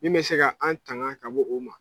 Min mɛ se ka an tanga ka bɔ o ma.